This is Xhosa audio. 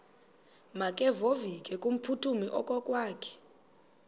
makevovike kumphuthumi okokwakhe